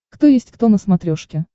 кто есть кто на смотрешке